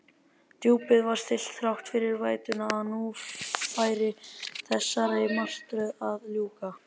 Djúpið var stillt þrátt fyrir vætuna, að nú færi þessari martröð að ljúka.